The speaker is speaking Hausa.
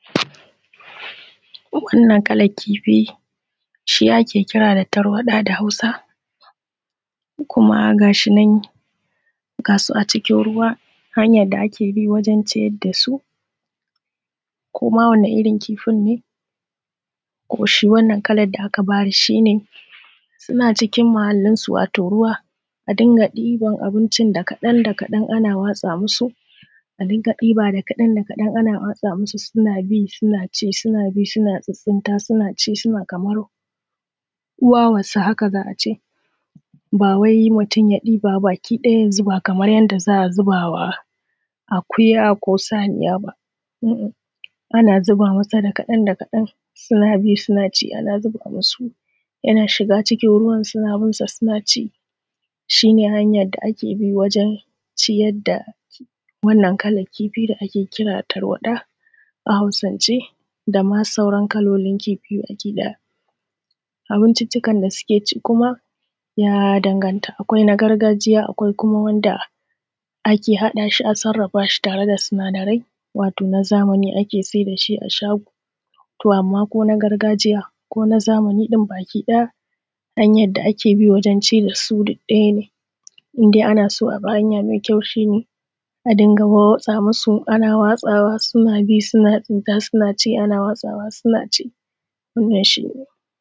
Wannan kalan kifi shi ake kira da tarwadaɗa hausa. Kuma gashinan gasu a cikin ruwa hanyan da a kebi wajen ciyar dasu. Koma wani irrin kifin ne kuma shi wannan kalan kifin da aka bayar shine suna cikin muhallin su wato ruwa a dunga ɗiban abincin da kaɗan da kaɗan ana watsa musu, a dunga ɗiba da kaɗan ana watsa musu suna bi suna ci suna bi suna tsitstainta kamar wawan su haka za'ace. Bawai mutun ya ɗiba baki ɗaya ya zuba kaman yanda za'a zubama akuya ko saniya ba. Ana zuba mata da kaɗan da kaɗan suna bi sunaci ana zuba musu yana shiga cikin ruwan suna binsa sunaci shine hanyan da a kebi wajen ciyar da wannan kalan kifi da ake kira tarwaɗa a hausance dama sauran kalolin kifi baki ɗaya. Abincinccikan da suke ci kuma ya danganta akwai na gargajiya akwai Kuma wanda ake haɗa shi a tare da sinada rai wato nazamani ake saida shi a shago to amma kona gargajiya kona zamani ɗin baki ɗaya hanyan da ake bi gurin cidasu duk ɗaya ne, indai anaso abi hanya mai kyau a dunga watsa musu ana watsa musu suna ci suna tsinta sunaci ana watsawa suna ci wannan shi ne.